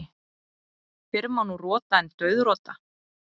Fyrr má nú rota en dauðrota.